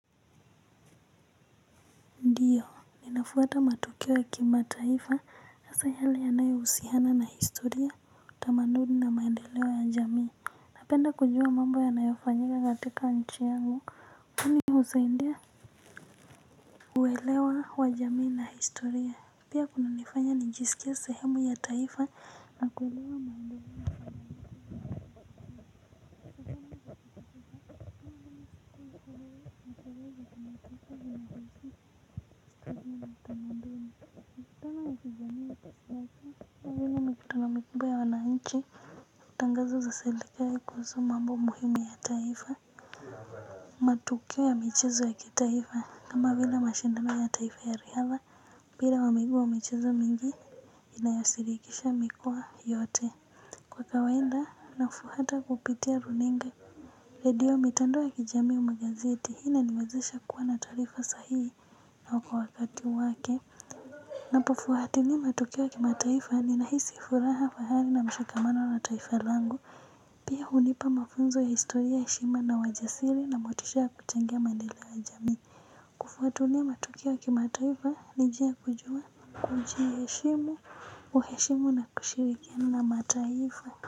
Ninafuata matukio ya kimataifa hasa yale yanayo husiana na historia tamaduni na maendeleo ya jamii. Napenda kujua mambo yanayo fanyika katika nchi yangu kwani husaidia kuelewa wa jamii na historia. Pia kunanifanya nijisikie sehemu ya taifa na kuelewa tangazo za serikali kuhusu mambo muhimu ya taifa. Matukio ya michezo ya kitaifa kama vile mashindano ya taifa ya riadha mpira wa miguu na michezo mingi inayoshirikisha mikoa yote. Kwa kawaida nafuata kupitia runinga. Redio mitandao ya kijamii au magazeti hii inaniwezesha kuwa na taarifa sahii na kwa wakati wake. Napofuatilia matukio ya kimataifa ninahisi furaha fahari na mshikamano na taifa langu. Pia hunipa mafunzo ya historia heshima na wajasiri na motisha ya kuchangia maendeleo ya jamii. Kufuatilia matukio ya kimataifa njia kujua kujiheshimu. Kuheshimu na kushirikiana na mataifa. Kwa hivyo.